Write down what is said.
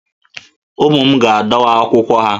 Ụmụ m ga-adọwa akwụkwọ ha